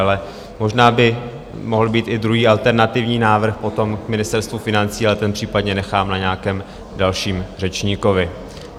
Ale možná by mohl být i druhý alternativní návrh potom k Ministerstvu financí, ale ten případně nechám na nějakém dalším řečníkovi.